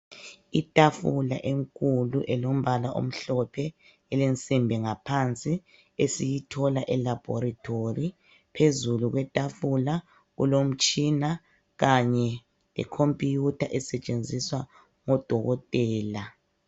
I tafula enkulu elombala omhlophe elensimbi ngaphansi esiyi thola elabhorethori phezulu kwetafula kulo mtshina kanye le khompuyutha esetshenziswa ngo dokotela.